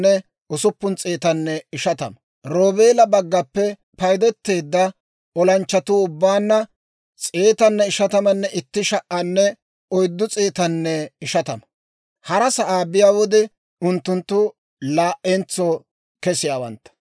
Roobeela baggaappe paydeteedda olanchchatuu ubbaanna 151,450. Hara sa'aa biyaa wode unttunttu laa"entso kesiyaawantta.